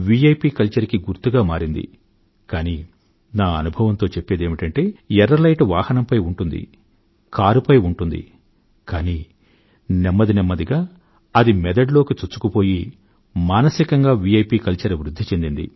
P culture కి గుర్తుగా మారింది కానీ నా అనుభవంతో చెప్పేదేమిటంటే ఎర్ర లైటు వాహనంపై ఉంటుంది కారుపై ఉంటుంది కానీ నెమ్మది నెమ్మదిగా అది మెదడులోకి చొచ్చుకుపోయి మానసికంగా విఐపి కల్చర్ వృధ్ధి చెందింది